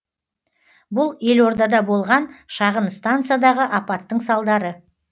бұл елордада болған шағын станциядағы апаттың салдары